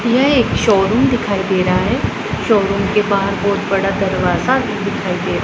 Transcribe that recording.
यह एक शोरूम दिखाई दे रहा है शोरूम के बाहर बहोत बड़ा दरवाजा दिखाई दे--